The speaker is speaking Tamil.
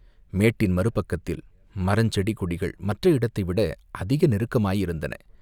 மேட்டின் மறு பக்கத்தில் மரஞ் செடி கொடிகள் மற்ற இடத்தைவிட அதிக நெருக்கமாயிருந்தன.